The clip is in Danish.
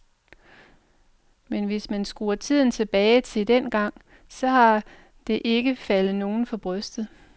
Men hvis man skruer tiden tilbage til dengang, så har det ikke faldet nogen for brystet.